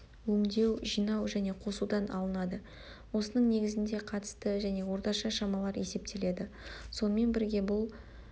өңдеу жинау және қосудан алынады осының негізінде қатысты және орташа шамалар есептеледі сонымен бірге бұл